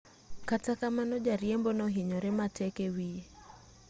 kata kamano jariembo nohinyore matek e wiye